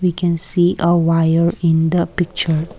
we can see a wire in the picture.